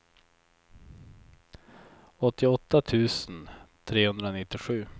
åttioåtta tusen trehundranittiosju